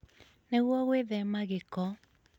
Nĩguo gwĩthema gĩko,